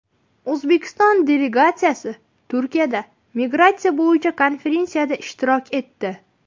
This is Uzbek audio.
O‘zbekiston delegatsiyasi Turkiyada migratsiya bo‘yicha konferensiyada ishtirok etdi.